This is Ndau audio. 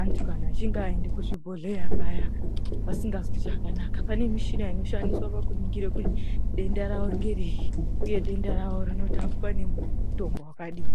antu kana achinge aenda kuzvibhehleya paya vasingazwi zvakanaka .Pane mushina inoshandiswa kuona kuti denda rawo ngerei uye denda rawo rinorapwa nemutombo wakadini.